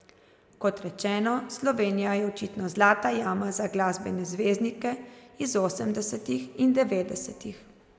Kot rečeno, Slovenija je očitno zlata jama za glasbene zvezdnike iz osemdesetih in devetdesetih.